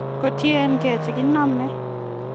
Kotiengie chekiname.